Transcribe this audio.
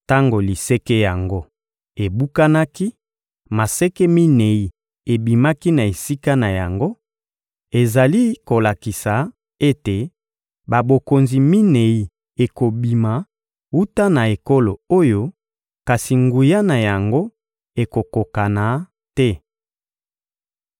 Tango liseke yango ebukanaki, maseke minei ebimaki na esika na yango: ezali kolakisa ete babokonzi minei ekobima wuta na ekolo oyo, kasi nguya na yango ekokokana te.